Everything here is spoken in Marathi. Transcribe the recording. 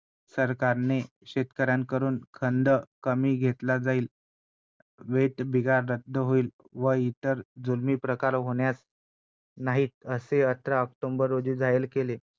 बऱ्याच गोष्टींच स्वातंत्र्य विचार मांडण्याचं स्वतंत्र व्यक्ती स्वतंत्र ज्याला आपण म्हणतो तो मला इथे लाभला किंवा मिळालं.